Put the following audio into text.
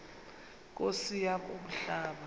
nkosi yam umhlaba